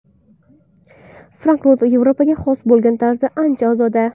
Frankfurt Yevropaga xos bo‘lgan tarzda ancha ozoda.